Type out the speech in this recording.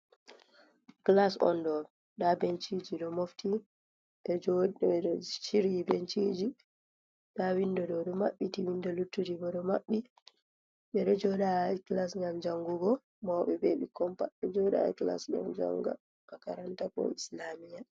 Clas on ɗo nda benchiji do mofti ɗo chiryi benchiji nda windo ɗo ɗo maɓɓiti windo luttuti bo ɗo maɓɓi ɓeɗo jodai clas ngam jangugo moube bebi kompat do jodai clas gam janga a 4aranta ko Islamia.